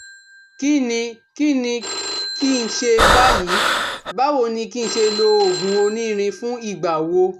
Kíni kí Kíni kí n ṣe báyìí? Báwo ni kí n ṣe lo oògùn onírin fún ìgbà wo?